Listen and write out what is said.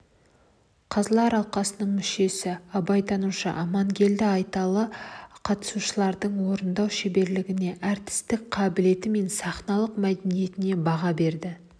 қазылар алқасының мүшесі абайтанушы амангелді айталы қатысушылардың орындау шеберлігіне әртістік қабілеті мен сахналық мәдениетіне баға берді